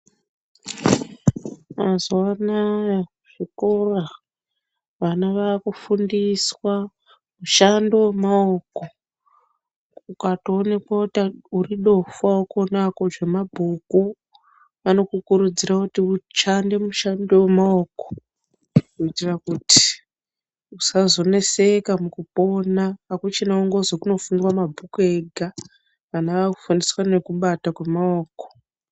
Mazuwa anaya zvikora vana vakufundiswa mushando wemaoko ukatoonekwa kuti uri dofo haukoni hako zvemabhuku vanokukurudzira kuti ushande mushando wemaoko kuitira kuti usazoneseka mukupona. Hakuchina kungozwi kunofundwa mabhuku ega. Vana vakufundiswa nekubata kwemaoko.